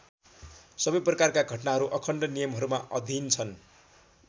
सबै प्रकारका घटनाहरू अखण्ड नियमहरूमा अधीन छन्।